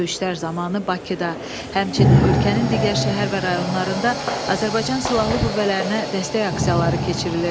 Döyüşlər zamanı Bakıda, həmçinin ölkənin digər şəhər və rayonlarında Azərbaycan Silahlı Qüvvələrinə dəstək aksiyaları keçirilirdi.